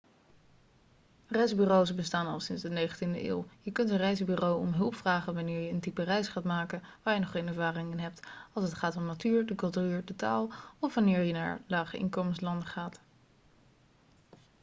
reisbureaus bestaan al sinds de 19e eeuw je kunt een reisbureau om hulp vragen wanneer je een type reis gaat maken waar je nog geen ervaring in hebt als het gaat om de natuur de cultuur de taal of wanneer je naar lage-inkomenslanden gaat